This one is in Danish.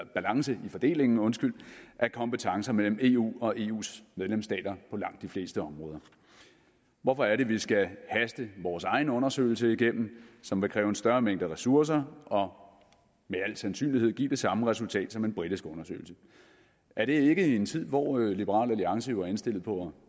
balance i fordelingen af kompetencer mellem eu og eus medlemsstater på langt de fleste områder hvorfor er det vi skal haste vores egen undersøgelse igennem som vil kræve en større mængde ressourcer og med al sandsynlighed give det samme resultat som en britisk undersøgelse er det ikke i en tid hvor liberal alliance jo er indstillet på at